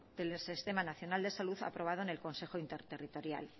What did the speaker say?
del sistema nacional de salud aprobado en el consejo interterritorial